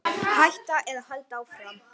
Hætta eða halda áfram?